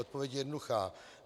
Odpověď je jednoduchá.